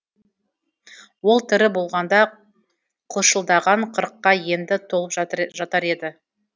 ол тірі болғанда қылшылдаған қырыққа енді толып жатар еді